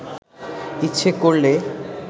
ইচ্ছে করলে